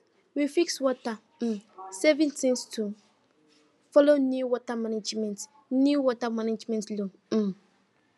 we fix water um saving things to follow new water management new water management law um